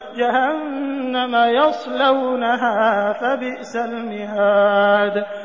جَهَنَّمَ يَصْلَوْنَهَا فَبِئْسَ الْمِهَادُ